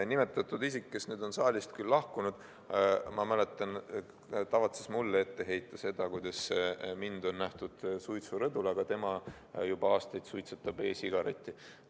Nimetatud isik, kes on nüüd küll saalist lahkunud, ma mäletan, tavatses mulle ette heita seda, kuidas mind on nähtud suitsurõdul, aga tema juba aastaid suitsetab e-sigaretti.